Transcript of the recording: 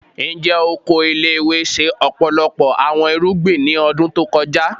Njẹ oko ile-iwe ṣe ọpọlọpọ awọn irugbin ni ọdun to kọja?